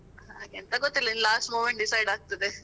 ಎಂಥ ಗೊತ್ತಿಲ್ಲ ಇನ್ನು last moment decide ಆಗ್ತಾದೆ.